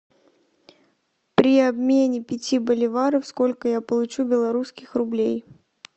при обмене пяти боливаров сколько я получу белорусских рублей